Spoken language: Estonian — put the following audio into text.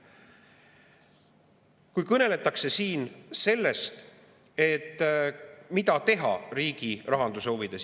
Siin kõneletakse sellest, mida teha riigi rahanduse huvides.